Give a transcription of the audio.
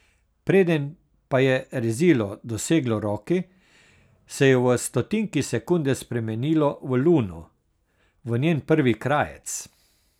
Preden pa je rezilo doseglo roki, se je v stotinki sekunde spremenilo v luno, v njen prvi krajec.